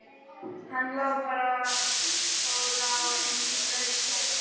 Hann lá bara og lá eins og blaut klessa.